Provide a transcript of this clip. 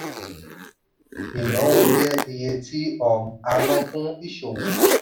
ìnáwó jẹ́ iye tí um a ná fún ìṣòwò.